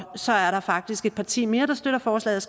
så er der faktisk et parti mere der støtter forslaget